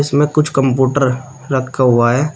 इसमें कुछ कंप्यूटर रखा हुआ है।